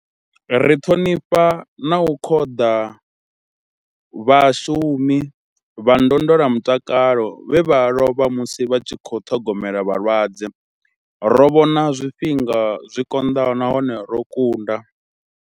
Ri ṱhonifha na u khoḓa vhashumi vha ndondolamutakalo vhe vha lovha musi vha tshi khou ṱhogomela vhalwadze. Ro vhona zwifhinga zwi konḓaho nahone ro kunda.